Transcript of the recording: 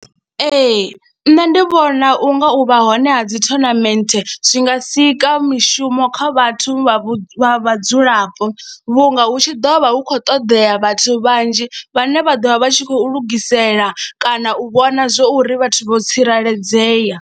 Ee, nṋe ndi vhona u nga u vha hone ha dzi tournament zwi nga sika mishumo kha vhathu vha vhu, vha vhadzulapo vhunga hu tshi ḓo vha hu khou ṱoḓea vhathu vhanzhi vhane vha ḓo vha vha tshi khou lugisela kana u vhona zwo ri vhathu vho tsireledzea.